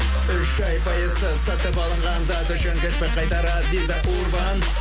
үш ай пайызсыз сатып алынған зат үшін чекті қайтарар виза урбан